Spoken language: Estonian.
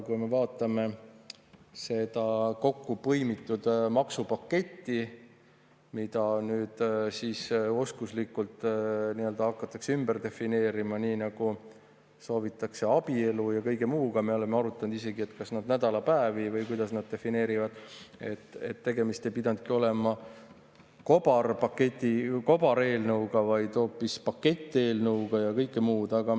Kui me vaatame seda kokkupõimitud maksupaketti, mida nüüd oskuslikult hakatakse ümber defineerima, nii nagu soovitakse abielu ja kõige muuga – me oleme arutanud isegi, kuidas nad nädalapäevi defineerivad –, siis tegemist ei pidanudki olema kobareelnõuga, vaid hoopis paketteelnõuga ja kõike muud.